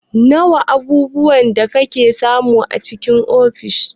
Wana abubuwa da ake samu a cikin ofis?